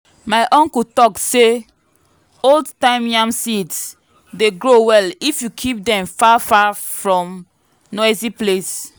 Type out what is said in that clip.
my uncle talk say old-time yam seeds dey grow well if you keep them far far from noisy place.